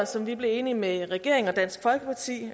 som vi blev enige med regeringen og dansk folkeparti